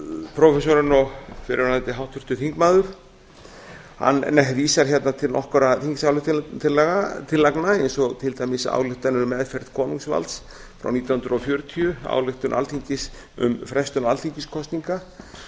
prófessorinn og fyrrverandi háttvirtur þingmaður hann vísar hérna til nokkurra þingsályktunartillagna eins og til dæmis ályktanir um meðferð konungsvalds frá nítján hundruð fjörutíu ályktun alþingis um frestun alþingiskosninga